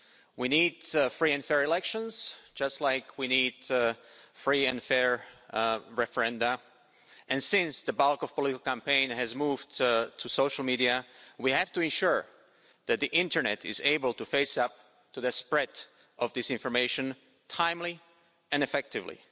We need free and fair elections, just like we need free and fair referendums, and since the bulk of political campaigns has moved to social media, we have to ensure that the internet is able to face up to the spread of disinformation timely and effectively.